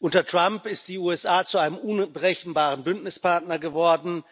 Unter Trump sind die USA zu einem unberechenbaren Bündnispartner geworden,